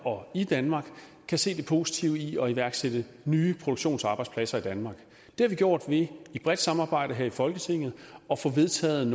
og i danmark kan se det positive i at iværksætte nye produktionsarbejdspladser i danmark det har vi gjort ved i et bredt samarbejde her i folketinget at få vedtaget